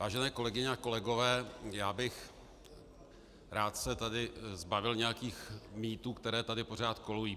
Vážené kolegyně a kolegové, já bych se rád tady zbavil nějakých mýtů, které tady pořád kolují.